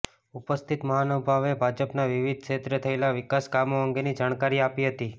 ઉપસ્થિત મહાનુભાવોએ ભાજપાના વિવિધ ક્ષેત્રે થયેલા વિકાસ કામો અંગેની જાણકારી આપી હતી